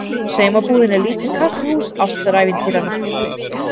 Saumabúðin er lítið kaffihús ástarævintýranna.